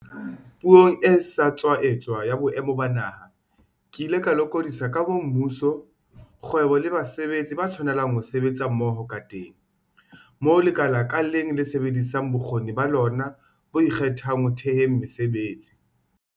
Puong e sa tswa etswa ya Boemo ba Naha, ke ile ka lokodisa ka moo mmuso, kgwebo le basebetsi ba tshwanelang ho sebetsa mmoho kateng, moo lekala ka leng le sebedisang bokgoni ba lona bo ikgethang ho theheng mesebetsi.